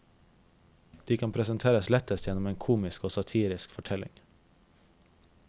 De kan presenteres lettest gjennom en komisk og satirisk fortelling.